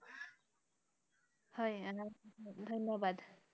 হয় আহ ধন্যবাদ